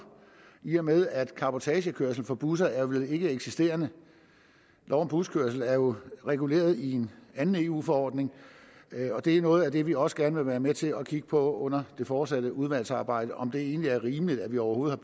i og med at cabotagekørsel for busser vel er ikkeeksisterende lov om buskørsel er jo reguleret i en anden eu forordning og det er noget af det vi også gerne være med til at kigge på under det fortsatte udvalgsarbejde altså om det egentlig er rimeligt at vi overhovedet